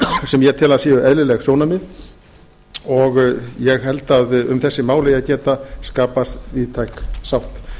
sem ég tel að séu eðlileg sjónarmið og ég held að um þessi mál eigi að geta skapast víðtæk sátt